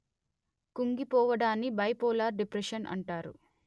కుంగిపోవడాన్ని bipolar depression అంటారు